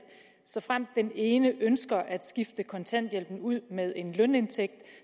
såfremt den ene ønsker at skifte kontanthjælpen ud med en lønindtægt